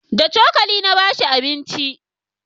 da cokali na bashi abinci